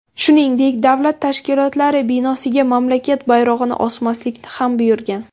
Shuningdek, davlat tashkilotlari binosiga mamlakat bayrog‘ini osmaslikni ham buyurgan.